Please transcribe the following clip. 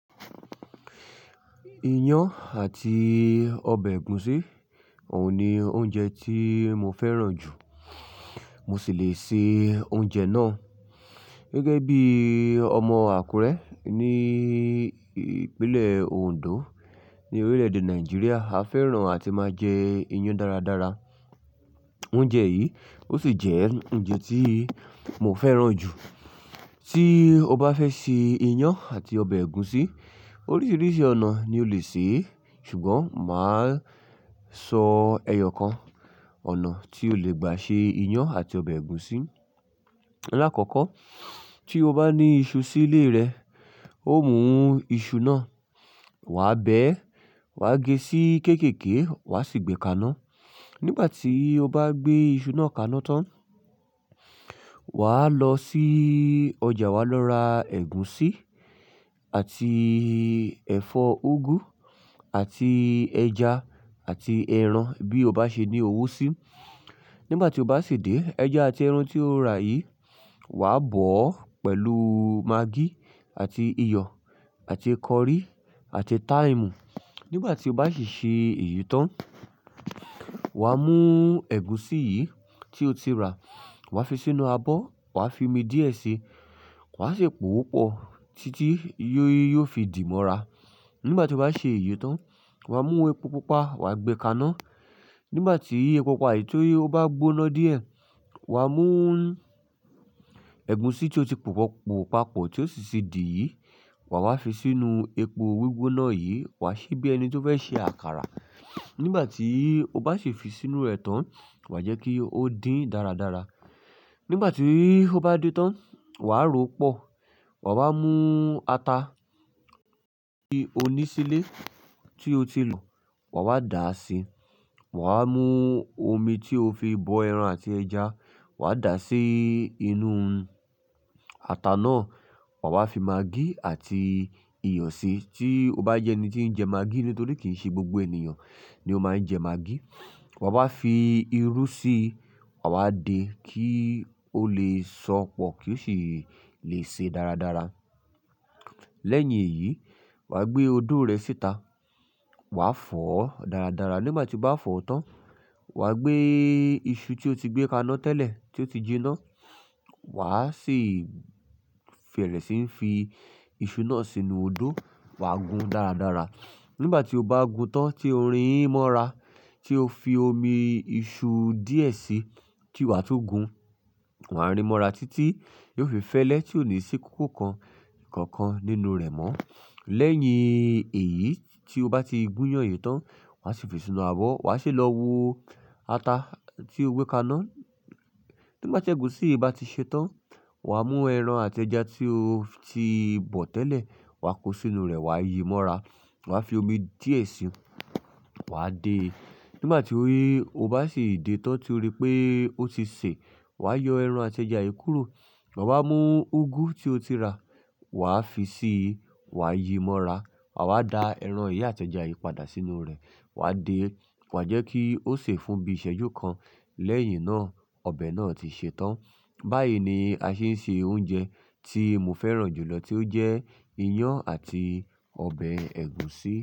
Iyán àti ọbẹ̀ ẹ̀gúsí, òun ni oúnjẹ tí mo fẹ́ràn jù. Mo sì le se oúnjẹ náà. Gẹ́gẹ́ bí ọmọ Àkúrẹ́ ní ìpínlẹ̀ Òǹdó ní orílẹ̀ẹ̀dè Nàìjíríà, a fẹ́ràn àti máa jẹ iyán dáradára. Oúnjẹ yìí ó sì jẹ́ oúnjẹ tí mo fẹ́ràn jù. Tí o bá fẹ́ ṣe iyán àti ọbẹ̀ ẹ̀gúsí, oríṣiríṣi ọ̀nà ni o lè ṣe é. Ṣùgbọ́n màá sọ ẹyọ kan, ọ̀nà tí o lè gbà ṣe iyán àti ọbẹ̀ ẹ̀gúsí. Láàkọ́kọ́ tí o bá ní iṣu sílé rẹ, ó mú iṣu náà wàá bẹ ẹ́, wàá gé sí kéékèèké wàá sì gbé e kaná. Nígbà tí o bá gbé iṣu náà kaná tán, wà á lọ sí ọjà, wà á lọ ra ẹ̀gúsí àti ẹ̀fọ́ úgú àti ẹja àti ẹran bí o bá ṣe ní owó sí. Nígbà tí o bá ṣìdé, ẹja àti ẹran tí o rà yìí, wà á bọ̀ ọ́ pẹ̀lú magí àti iyọ̀ àti kọrí àti táìmù. Nígbà tí o bá ṣì ṣe èyí tán, wà á mú ẹ̀gúsí yìí tí o ti rà, wà á fi sínú abọ́, wà á fi omi díẹ̀ si, wà á si pòópọ̀ títí yí ó fi dì mọ́ra. Nígbà tí o bá ṣe èyí tán, wà á mú epo pupa, wà á gbẹ kaná. Nígbà tí epo pupa yìí tó bá gbóná díẹ̀, wà á mú ẹ̀gúsí tí ó ti pòpọ̀–pòpapọ̀ tí ó sì ti dì yìí, wàá wá fi sínú epo gbígbóná yìí, wà á ṣe bí ẹni tí ó fẹ́ ṣe àkàrà. Nígbà tí o bá si fi sínú rẹ̀ tán, wà á jẹ́ kí ó dín dáradára. Nígbà tí ó bá dín tán, wà á rò ó pọ̀, wàá wá mú ata tí ó ní sílé tí o ti lọ̀, wàá wá dà á sí i. Wàá wá mú omi tí o fi bọ ẹran àti ẹja, wà á dà sí inú ata náà. Wà á fi magí àti iyọ̀ sí, tí o bá jẹ́ ẹni tí ń jẹ magí nítorí kì í ṣe gbogbo ènìyàn ni ó máa ń jẹ magí. Wàá wá fi irú síi, wàá wá de kí ó lè sọpọ̀ kí ó sì lè ṣe dáradára. Lẹ́yìn èyí, wà á gbé odó rẹ síta, wà á fọ̀ ọ́ dáradára. Nígbà tí o bá fọ̀ ọ́ tán, wà á gbé iṣu tí o ti gbé kaná tẹ́lẹ̀ tí ó ti jiná, wà á sì fẹ̀rẹ̀ sí ń fi iṣu náà sínú odó, wà á gun dáradára. Nígbà tí o bá gun tán tí ori yìí mọ́ra tí o fi omi iṣu díẹ̀ si tí wà tún gun, wà á rí mọ́ra títí kí ó fi fẹ́lẹ́ tí ò ní sí kókó kan kànkan nínú rẹ̀ mọ́. Lẹ́yìn èyí tí o bá ti gúnyán èyí tán, wà á sì fi sínú abọ́, wà á ṣe lọ wo ata tí o gbé kaná. Nígbà tí ẹ̀gúsí yìí bá ti ṣe tán, wà á mú ẹran àti ẹja tí o ti bọ̀ tẹ́lẹ̀, wà á kó sínú rẹ̀ wà á yi í mọ́ra, wà á fi omi díẹ̀ ṣe, wà á de. Nígbà tí ó bá sì dé tán tí o rí pé ó ti ṣe, wà á yọ ẹran àti ẹja yìí kúrò. Wà á mú úgú tí o ti rà, wà á fi síi, wà á yi í mọ́ra. Wà á da ẹran yìí àti ẹja yìí padà sínú rẹ̀, wà á de, wà á jẹ́ kí ó sè fún bí iṣẹ́jú kan. Lẹ́yìn náà, ọbẹ̀ náà ti ṣe tán. Báyìí ni a ṣe ń se oúnjẹ tí mo fẹ́ràn jù lọ tí ó jẹ́ iyán àti ọbẹ̀ ẹ̀gúsí.